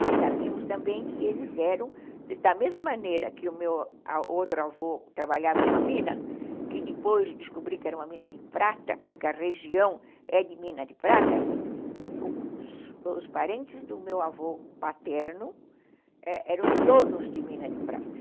E sabíamos também que eles eram, da mesma maneira que o meu outro avô trabalhava numa mina, que depois de descobrir que era uma mina de prata, porque a região é de mina de prata, os parentes do meu avô paterno eram donos de mina de prata.